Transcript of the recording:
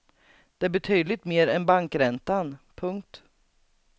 Det är betydligt mer än bankräntan. punkt